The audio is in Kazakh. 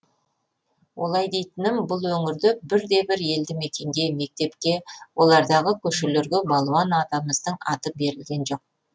олай дейтінім бұл өңірде бірде бір елді мекенге мектепке олардағы көшелерге балуан атамыздың аты берілген жоқ